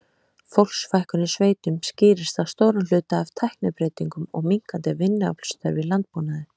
Fólksfækkun í sveitum skýrist að stórum hluta af tæknibreytingum og minnkandi vinnuaflsþörf í landbúnaði.